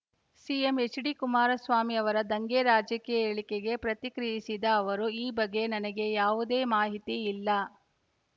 CM H D Kumaraswamy ಅವರ ದಂಗೆ ರಾಜಕೀಯ ಹೇಳಿಕೆಗೆ ಪ್ರತಿಕ್ರಿಯಿಸಿದ ಅವರು ಈ ಬಗ್ಗೆ ನನಗೆ ಯಾವುದೇ ಮಾಹಿತಿ ಇಲ್ಲ